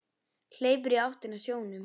Hleypur í áttina að sjónum.